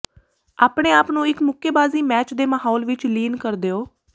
ਆਪਣੇ ਆਪ ਨੂੰ ਇੱਕ ਮੁੱਕੇਬਾਜ਼ੀ ਮੈਚ ਦੇ ਮਾਹੌਲ ਵਿੱਚ ਲੀਨ ਕਰ ਦਿਓ